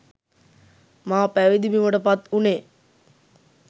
මා පැවිදි බිමට පත් වුණේ